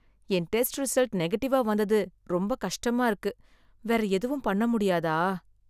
என் test result நெகட்டிவா வந்தது ரொம்ப கஷ்டமா இருக்கு. வேற எதுவும் பண்ண முடியாதா?